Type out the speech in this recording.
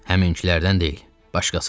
Həminkilərdən deyil, başqasıdır.